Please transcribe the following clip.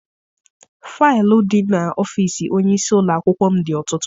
Faịlụ di n'ọfịịsi onyeisi ụlọakwụkwọ m dị ọtụtụ.